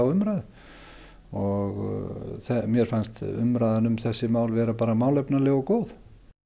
umræðu og mér fannst umræðan um þessi mál bara vera málefnaleg og góð